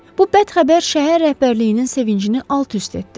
Bu bəd xəbər şəhər rəhbərliyinin sevincini alt-üst etdi.